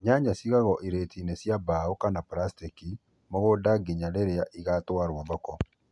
Nyanya cigagwo irĩtiinĩ cia mbaũ kana plaskĩki mũgũndainĩ nginya rĩrĩa ũgatwarwo thoko